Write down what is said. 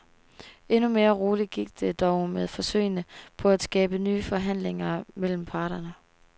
Endnu mere roligt gik det dog med forsøgene på at skabe nye forhandlinger mellem parterne.